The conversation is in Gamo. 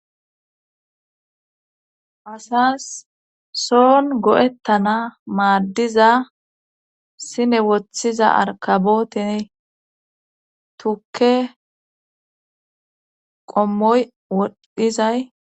asas soon go7ettana maaddiza sine woththiza arkabootiny tukke qommoy woddhizay